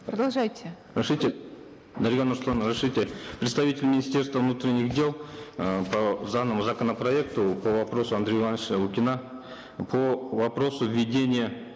продолжайте разрешите дарига нурсултановна разрешите представитель министерства внутренних дел э по законопроекту по вопросу андрея ивановича лукина по вопросу введения